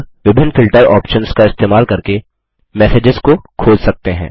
अब विभिन्न filter options का इस्तेमाल करके मैसेजेस को खोज सकते हैं